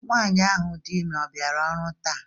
Nwanyị ahụ dị ime ọ bịara ọrụ taa?